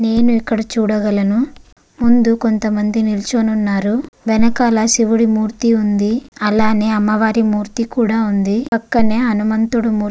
నేను ఇక్కడ చూడగలను ముందు కొంత మంది నిల్చొని వున్నారు వెనకాల సివుడుముర్తి ఉంది అలనే అమ్మవారి మూర్తి కూడా వుంది పక్కనే హనుమంతుడి మూర్తి --